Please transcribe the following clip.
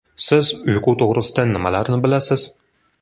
Siz uyqu to‘g‘risida nimalarni bilasiz?